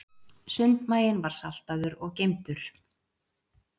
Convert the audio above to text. Sundmaginn var saltaður og geymdur.